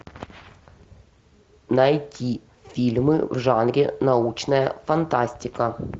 найти фильмы в жанре научная фантастика